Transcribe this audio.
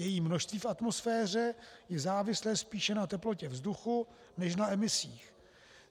Její množství v atmosféře je závislé spíše na teplotě vzduchu než na emisích.